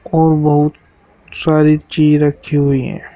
और बहुत सारी चीज रखी हुई हैं।